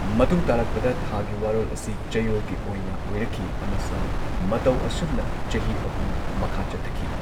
ꯃꯇꯨꯡ ꯇꯥꯔꯛꯄꯗ ꯊꯥꯒꯤ ꯋꯥꯔꯣꯜ ꯑꯁꯤ ꯆꯌꯣꯜꯒꯤ ꯑꯣꯏꯅ ꯑꯣꯢꯔꯛꯈꯤ ꯑꯃꯁꯨꯡ ꯃꯇꯧ ꯑꯁꯨꯝꯅ ꯆꯍꯤ ꯑꯍꯨꯝ ꯃꯈꯥ ꯆꯠꯊꯈꯤ꯫